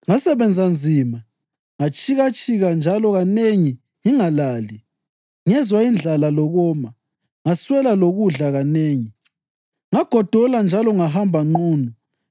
Ngasebenza nzima, ngatshikatshika njalo kanengi ngingalali; ngezwa indlala lokoma, ngaswela lokudla kanengi; ngagodola njalo ngahamba nqunu.